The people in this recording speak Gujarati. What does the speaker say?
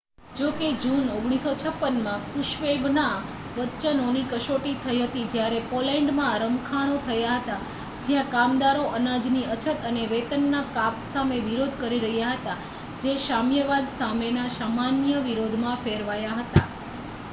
જો કે જૂન 1956માં ક્રુશ્ચેવના વચનોની કસોટી થઈ હતી જ્યારે પોલૅન્ડમાં રમખાણો થયા હતા જ્યાં કામદારો અનાજની અછત અને વેતનના કાપ સામે વિરોધ કરી રહ્યા હતા જે સામ્યવાદ સામેના સામાન્ય વિરોધમાં ફેરવાયા હતા